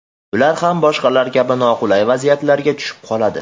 Ular ham boshqalar kabi noqulay vaziyatlarga tushib qoladi.